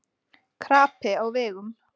Krapi á vegum